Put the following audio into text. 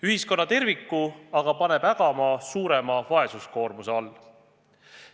Ühiskonna kui terviku aga paneb see ägama suurema vaesuskoorma all.